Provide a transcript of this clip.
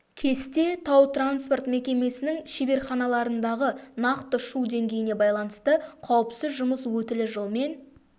кесте тау-транспорт мекемесінің шеберханаларындағы нақты шу деңгейіне байланысты қауіпсіз жұмыс өтілі жылмен